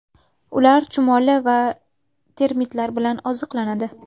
Ular chumoli va termitlar bilan oziqlanadi.